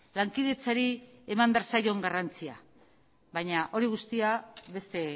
lankidetzari eman behar zaion garrantzia baina hori guztia beste